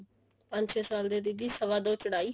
ਪੰਜ ਛੇ ਸਾਲ ਦੀ ਦੀਦੀ ਸਵਾ ਦੋ ਚੋੜਾਈ